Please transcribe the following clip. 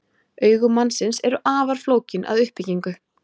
Augu mannsins eru afar flókin að uppbyggingu.